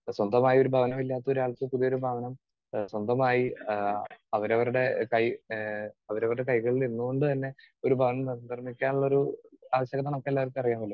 Speaker 2 സ്വന്തമായി ഒരു ഭവനം ഇല്ലാത്ത ഒരാൾക്ക് പുതിയൊരു ഭവനം ഏഹ് സ്വന്തമായി ആഹ് അവരവരുടെ കൈ ഏഹ് അവരവരുടെ കൈകളിൽ നിന്നുകൊണ്ടുതന്നെ ഒരു ഭവനം നിർമ്മിക്കാനുള്ള ഒരു ആവശ്യകത നമുക്കെല്ലാവർക്കും അറിയാമല്ലോ.